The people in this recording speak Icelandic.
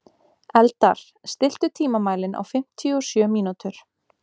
Eldar, stilltu tímamælinn á fimmtíu og sjö mínútur.